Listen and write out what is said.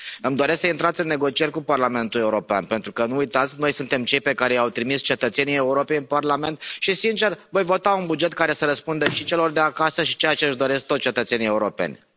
Îmi doresc să intrați în negocieri cu Parlamentul European, pentru că nu uitați, noi suntem cei pe care i au trimis cetățenii Europei în Parlament, și sincer, voi vota un buget care să răspundă și celor de acasă și ceea ce își doresc toți cetățenii europeni. Vă mulțumesc.